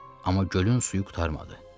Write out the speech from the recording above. Amma gölün suyu qurtarmadı.